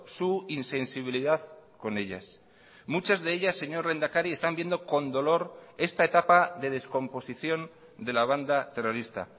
su insensibilidad con ellas muchas de ellas señor lehendakari están viendo con dolor esta etapa de descomposición de la banda terrorista